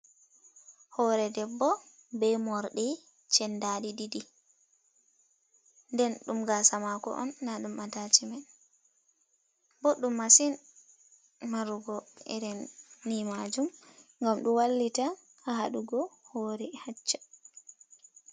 Hoore debbo be morɗi chendadi ɗiɗi, nden ɗum gaasa maako on, na ɗum atacimen. Ɓoɗɗum masin marugo irinni maajum, gam ɗo wallita haɗugo hoore hacca.